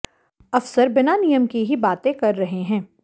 अफसर बिना नियम के ही बातें कर रहे हैं